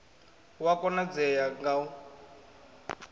hu a konadzea ga u